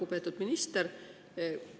Lugupeetud minister!